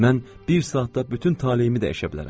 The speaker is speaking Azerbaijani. Mən bir saatda bütün taleyimi dəyişə bilərəm.